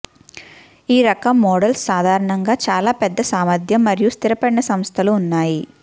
ఈ రకం మోడల్స్ సాధారణంగా చాలా పెద్ద సామర్థ్యం మరియు స్థిరపడిన సంస్థలు ఉన్నాయి